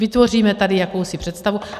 Vytvoříme tady jakousi představu.